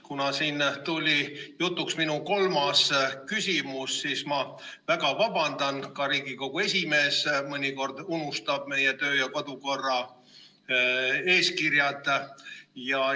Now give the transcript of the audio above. Kuna siin tuli jutuks minu kolmas küsimus, siis ma väga vabandan, ka Riigikogu esimees mõnikord unustab meie kodu- ja töökorra eeskirjad.